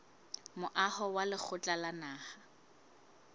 moaho wa lekgotla la naha